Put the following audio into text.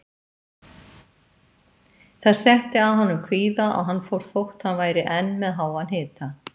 Það setti að honum kvíða og hann fór þótt hann væri enn með háan hita.